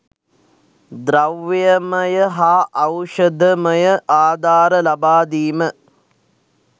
ද්‍රව්‍යමය හා ඖෂධමය ආධාර ලබාදීම.